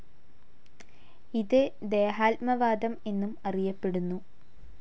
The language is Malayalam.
ഇത് ദേഹാത്മവാദം എന്നും അറിയപ്പെടുന്നു.